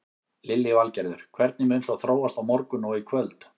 Lillý Valgerður: Hvernig mun svo þróast á morgun og í kvöld?